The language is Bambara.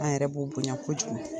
An' yɛrɛ b'o bonya kojugu.